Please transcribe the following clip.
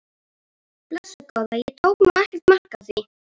Blessuð góða, ég tók nú ekkert mark á því!